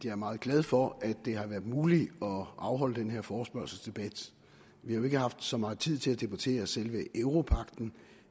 er meget glad for at det har været muligt at afholde den her forespørgselsdebat vi har jo ikke haft så meget tid til at debattere selve europagten